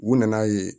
U nana ye